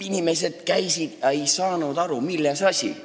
" Inimesed käisid ega saanud aru, milles asi.